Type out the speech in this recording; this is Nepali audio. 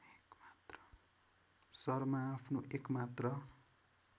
शर्मा आफ्नो एकमात्र